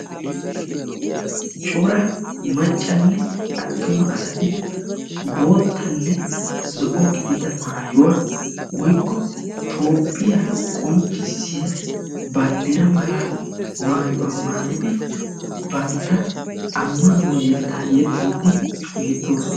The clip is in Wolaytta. coraa maccanne attuma asati boottanne zo''o gidida maayuwaa woykko toophiyaa qonccissiya banddiraa mala maayuwaa maayidi bantta ammanuwaa yetta yexxiidi beettoosona.